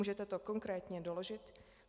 Můžete to konkrétně doložit?